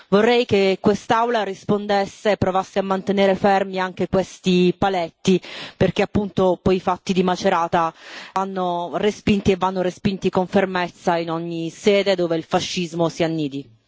Vorrei che quest'Aula rispondesse e provasse a mantenere fermi anche questi paletti, perché appunto, dopo i fatti di Macerata, vanno respinti e vanno respinti con fermezza in ogni sede dove il fascismo si annidi.